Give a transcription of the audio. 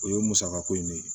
O ye musaka ko in de ye